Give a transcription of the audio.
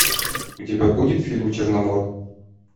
у тебя будет фильм черномор